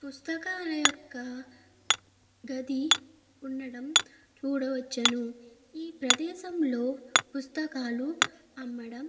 పుస్తకాల యొక్క గది ఉండడం చూడవచ్చును ఈ ప్రదేశం లో పుస్తకాలు అమ్మడం.